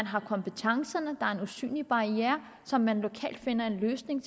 har kompetencerne og der er en usynlig barriere som man lokalt finder en løsning